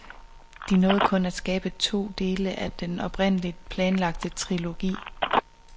De nåede kun at skabe to dele af den oprindeligt planlagte trilogi.